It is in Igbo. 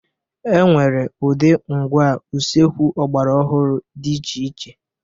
E nwere ụdị ngwá usekwu ọgbara ọhụrụ dị iche iche.